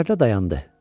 Sərkərdə dayandı.